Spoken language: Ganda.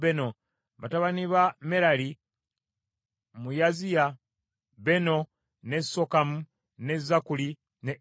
Batabani ba Merali, mu Yaaziya: Beno, ne Sokamu, ne Zakkuli, ne Ibuli.